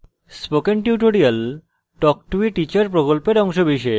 spoken tutorial talk to a teacher প্রকল্পের অংশবিশেষ